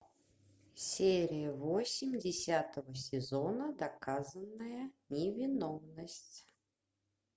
серия восемь десятого сезона доказанная невиновность